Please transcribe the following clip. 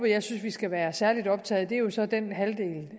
jeg synes vi skal være særlig optaget af er jo så er den halvdel